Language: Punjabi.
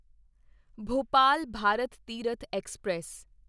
ਭੋਪਾਲ ਭਾਰਤ ਤੀਰਥ ਐਕਸਪ੍ਰੈਸ